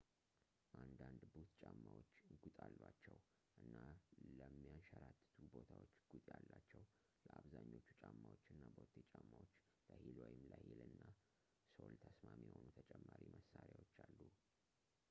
አንዳንድ ቡት ጫማዎች ጉጥ አሏቸው እና ለሚያሸራትቱ ቦታዎች ጉጥ ያላቸው ለአብዛኞቹ ጫማዎች እና ቦቴ ጫማዎች ለሂል ወይም ለሂል እና ሶል ተስማሚ የሆኑ ተጨማሪ መሣሪያዎች አሉ